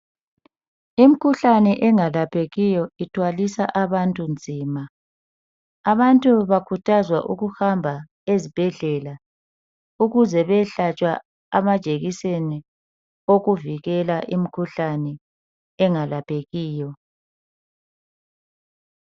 Imikhuhlane engalaphekiyo ithwalisa abantu nzima bantu bakhuthazwa ukuhamba esibhedlela ukuze beyehlatshwa amajekiseni okuvikela imkhuhlane engalaphekiyo